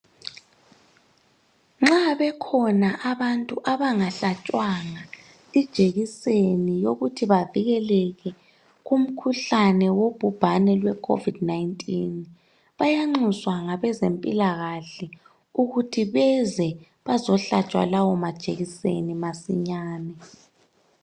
Nxa bekhona abantu abangahlatshwanga i jekiseni yokuthi bavikeleke kumkhuhlane wogubhane lwe covid 19 bayanxuswa ngabezempilakahle ukuthi beze bazohlatshwa lawo ma jekiseni masinyane.